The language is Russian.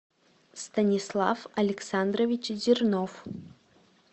станислав александрович зернов